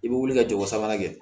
I bɛ wuli ka jogo sabanan kɛ